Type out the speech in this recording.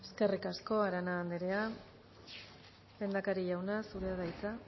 eskerrik asko arana andrea lehendakari jauna zurea da hitza